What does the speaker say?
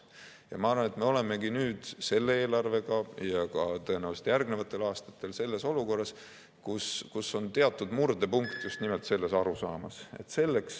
Ja ma arvan, et me olemegi nüüd selle eelarvega ja tõenäoliselt ka järgnevatel aastatel selles olukorras, kus on teatud murdepunkt just nimelt selles arusaamas.